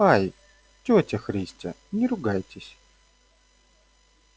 ай тётя христя не ругайтесь